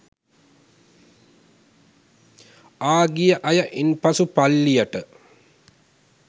ආ ගිය අය ඉන් පසු පල්ලියට